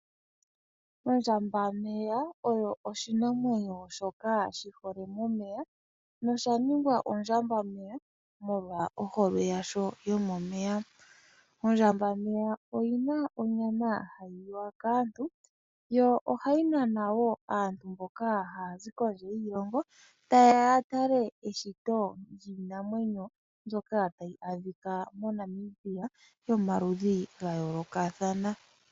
Ondjambameya oyo oshinamwenyo shoka shi hole momeya nosha ningwa ondjambameya molwa ohole yasho yomomeya. Ondjambameya oyi na onyama hayi liwa kaantu yo ohayi nana wo aantu mboka haya zi kondje yiilongo taye ya ya tale eshito lyiinamwenyo mbyoka hayi adhika moNamibia yomaludhi ga yoolokathana.